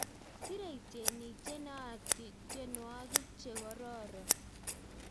Serei tyenik che naat tyenwek che kororon